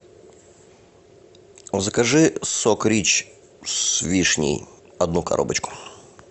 закажи сок рич с вишней одну коробочку